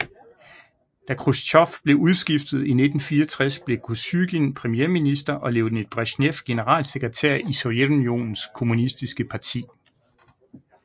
Da Khrusjtjov blev udskiftet i 1964 blev Kosygin premierminister og Leonid Bresjnev generalsekretær i Sovjetunionens kommunistiske parti